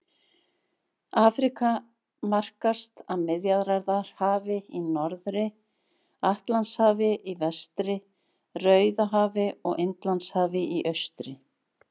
Afríka markast af Miðjarðarhafi í norðri, Atlantshafi í vestri, Rauðahafi og Indlandshafi í austri.